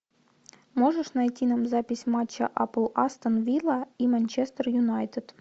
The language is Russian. можешь найти нам запись матча апл астон вилла и манчестер юнайтед